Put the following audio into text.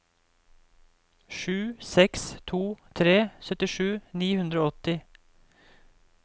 sju seks to tre syttisju ni hundre og åtti